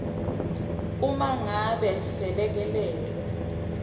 uma ngabe selekelelo